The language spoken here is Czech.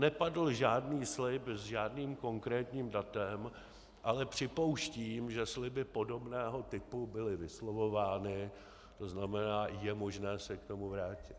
Nepadl žádný slib s žádným konkrétním datem, ale připouštím, že sliby podobného typu byly vyslovovány, to znamená, je možné se k tomu vrátit.